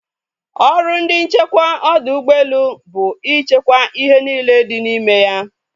Ọrụ ndị nchekwa ọdọ ụgbọelu bụ i chekwaa ihe niile dị n'ime ya